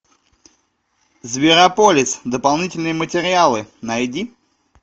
зверополис дополнительные материалы найди